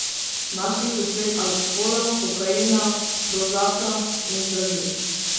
Našli so sledi alkohola, kokaina, prozaka in zdravil.